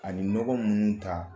Ani nɔgɔ minnu ta